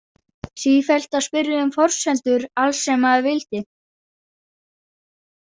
Sífellt að spyrja um forsendur alls sem maður vildi.